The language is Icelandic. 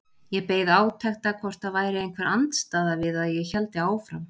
Ég beið átekta hvort það væri einhver andstaða við að ég héldi áfram.